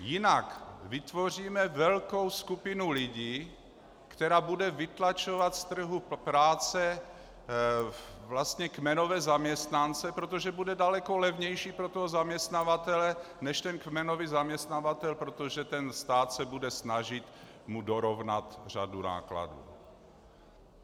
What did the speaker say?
Jinak vytvoříme velkou skupinu lidí, která bude vytlačovat z trhu práce vlastně kmenové zaměstnance, protože bude daleko levnější pro toho zaměstnavatele, než ten kmenový zaměstnavatel , protože ten stát se bude snažit mu dorovnat řadu nákladů.